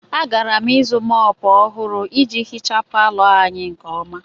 Agara m ịzụ mòpu ọhụrụ iji hichaa palọ anyị nke ọma